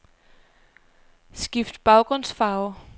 Skift baggrundsfarve.